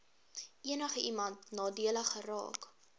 enigiemand nadelig geraak